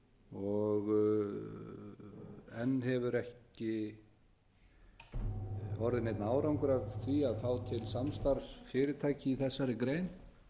og enn hefur ekki orðið neinn árangur af því að fá til samstarfs fyrirtæki í þessari grein